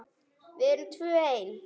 Við erum tvö ein.